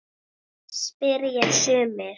spyrja sumir.